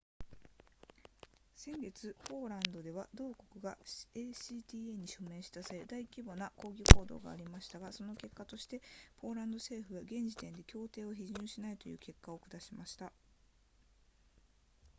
先月ポーランドでは同国が acta に署名した際に大規模な抗議行動がありましたがその結果としてポーランド政府は現時点で協定を批准しないという決定を下しました